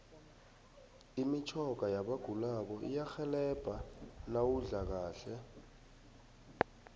imitjhoga yabagulako iyarhelebha nawudla kahle